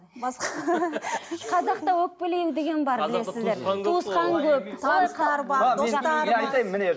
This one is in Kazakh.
қазақта өкпелеу деген бар білесіздер